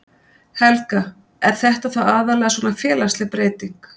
Helga: Er þetta þá aðallega svona félagsleg breyting?